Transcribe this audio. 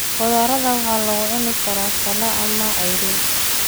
Qudaarada waxay lagu cuni karaa saladh ama ceyriin.